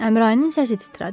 Əmrayinin səsi titrədi.